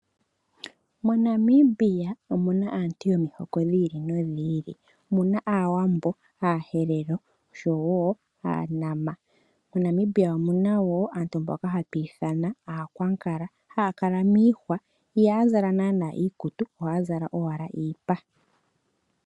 MoNamibia omuna aantu yomihoko dhi ili nodhi ili. Omuna aawambo, aaherero, oshowo aanama. MoNamibia omuna wo aantu mboka hatu ithana aakwankala, haya kala miihwa, ihaya zala naana iikutu, ohaya zala owala iipa.